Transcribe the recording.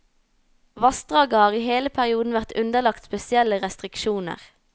Vassdraget har i hele perioden vært underlagt spesielle restriksjoner.